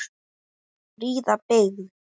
Fríða byggð.